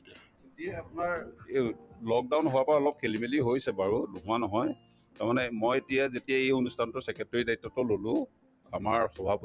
এতিয়া আপোনাৰ lockdown হোৱাৰ পৰা অলপ খেলি-মেলি হৈছে বাৰু নোহোৱা নহয় তাৰমানে মই এতিয়া যেতিয়া এই অনুষ্ঠানতোৰ secretary ৰ দায়িত্বতো ললো আমাৰ